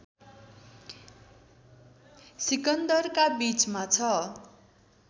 सिकन्दराका बीचमा छ